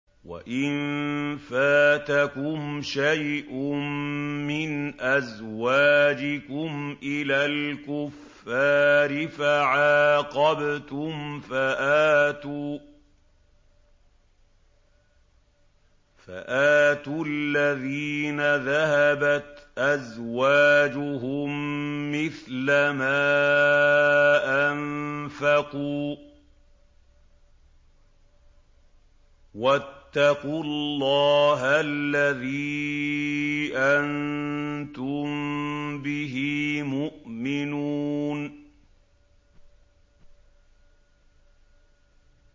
وَإِن فَاتَكُمْ شَيْءٌ مِّنْ أَزْوَاجِكُمْ إِلَى الْكُفَّارِ فَعَاقَبْتُمْ فَآتُوا الَّذِينَ ذَهَبَتْ أَزْوَاجُهُم مِّثْلَ مَا أَنفَقُوا ۚ وَاتَّقُوا اللَّهَ الَّذِي أَنتُم بِهِ مُؤْمِنُونَ